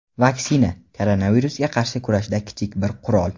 vaksina — koronavirusga qarshi kurashda kichik bir qurol.